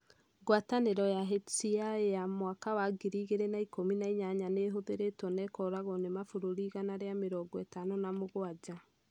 Ngwatanĩro ya HCI ya mwaka wa ngiri igĩrĩ na ikũmi na inyanya nĩ ĩhũthĩrĩtwo na ĩkoragwo na mabũrũri igana rĩa mĩrongo ĩtano na mũgwanja.